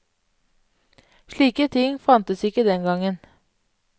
Slike ting fantes ikke den gangen.